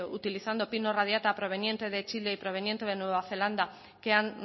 utilizando pino radiata proveniente de chile y proveniente de nueva zelanda que han